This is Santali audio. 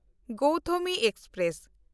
ᱜᱳᱣᱛᱷᱚᱢᱤ ᱮᱠᱥᱯᱨᱮᱥ